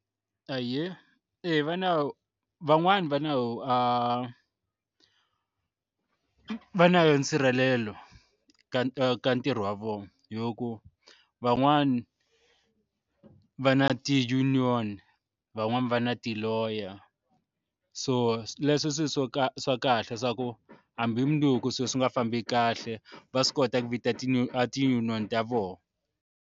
Ahee eya va na van'wani va nawu va na yoho nsirhelelo ka ka ntirho wa vona hi ku van'wana va na ti-union van'wani va na ti-lawyer a so leswi swi swo ka swa kahle swa ku hambi hi munduku swilo swi nga fambi kahle va swi kota ku vita ti no a ti-union ta vona.